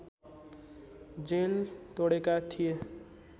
jail तोडेका थिए